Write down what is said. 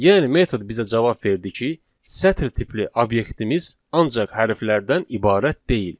Yəni metod bizə cavab verdi ki, sətir tipli obyektimiz ancaq hərflərdən ibarət deyil.